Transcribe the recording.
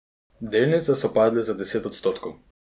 Delnice so padle za deset odstotkov.